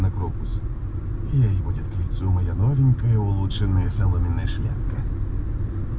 новенькая